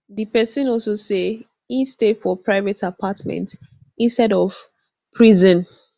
di pesin also say e stay for private apartment instead of prison